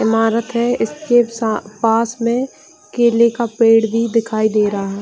ईमारत है इसके सा पास में केले का पेड़ भी दिखाई दे रहा --